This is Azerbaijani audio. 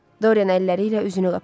Dorian əlləri ilə üzünü qapadı.